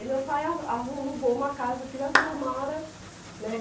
Aí meu pai a alugou uma casa aqui na Vila Mara, né?